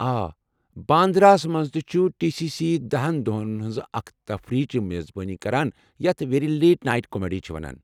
آ، باندرا ہَس مَنٛز تہِ چھُ ٹی سی سی دہَن دۄہَن ہِنٛزِ اكہِ تقریبٕچہِ میزبٲنی کران یتھ 'ویری لیٹ نایٹ کامیڈی' چھِ وَنان۔